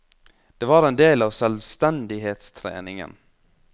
Det var en del av selvstendighetstreningen.